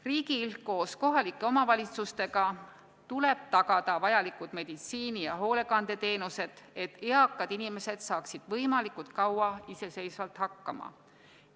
Riigil koos kohalike omavalitsustega tuleb tagada vajalikud meditsiini- ja hoolekandeteenused, et eakad inimesed saaksid võimalikult kaua iseseisvalt hakkama.